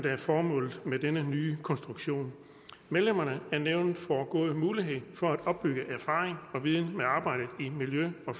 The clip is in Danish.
er formålet med denne nye konstruktion medlemmerne af nævnet får gode muligheder for at opbygge erfaring og viden med arbejdet i miljø og